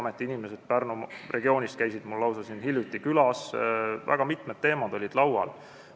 Ameti inimesed Pärnumaa regioonist käisid mul hiljuti siin lausa külas ja väga mitmed teemad olid laual.